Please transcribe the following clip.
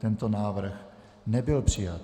Tento návrh nebyl přijat.